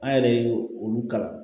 An yɛrɛ ye olu kalan